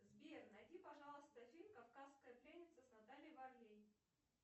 сбер найди пожалуйста фильм кавказская пленница с натальей варлей